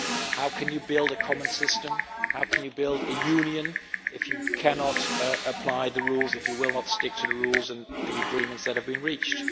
How can you build a common system and how can you build a union if you cannot apply the rules, and if you will not stick to the rules and the agreements that have been reached?